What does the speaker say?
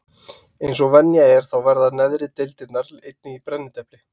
Eins og venja er þá verða neðri deildirnar einnig í brennidepli.